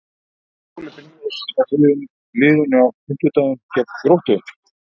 Stýrir Óli Brynjólfs þá liðinu á fimmtudaginn gegn Gróttu?